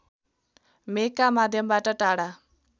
मेघका माध्यमबाट टाढा